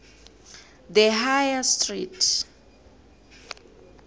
the high street